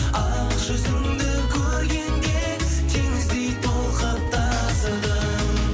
ақ жүзіңді көргенде теңіздей толқып тасыдым